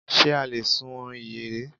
Ṣe a lè sun ìyẹ̀rẹ̀?